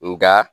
Nga